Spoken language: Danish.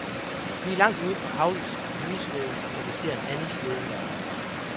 Vi langt ude på havisen på hundeslæde, da vi ser en anden slæde nærme sig.